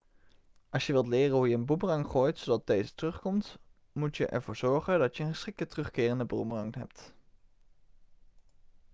als je wilt leren hoe je een boemerang gooit zodat deze terugkomt moet je ervoor zorgen dat je een geschikte terugkerende boemerang hebt